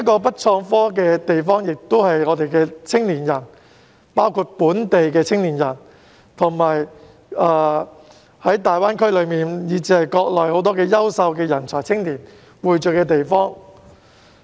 "北創科"的地方，亦是青年人，包括本地青年及大灣區以至國內很多優秀人才、青年匯聚的地方。